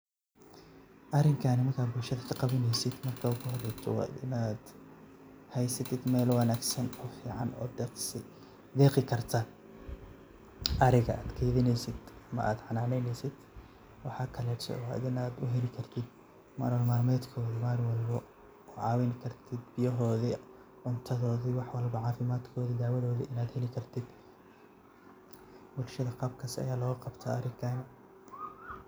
Arinkan markad bulshada kaqawaneysid marka hore wa inad heysid meel deqi karta ariga ad keydineysid ama ad xananeysid waxa kaleto wa inad uheli kartid nolol malmedkoda oo ad kucawini kartid biyihoda, cuntadodi wax walbo cafimadkodi oo dawadodi ad heli kartid, bulshada qabka aya logaqabta howshan.